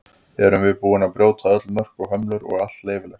Erum við búin að brjóta öll mörk og hömlur og er allt leyfilegt?